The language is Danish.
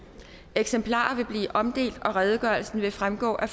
eksemplarer vil blive omdelt og redegørelsen vil fremgå af